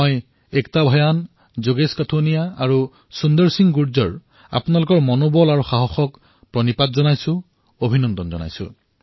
মই একতা ভয়ান যোগেশ কঠুনিয়া আৰু সুন্দৰ সিংহক তেওঁলোকৰ উৎসাহ আৰু সাহসক চালাম কৰিছোঁ অভিনন্দন জনাইছোঁ